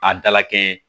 A dala kɛɲɛ